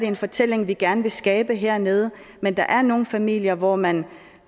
en fortælling vi gerne vil skabe hernede men der er nogle familier hvor man